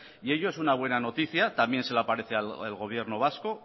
y ello es una buena noticia también se le aparece al gobierno vasco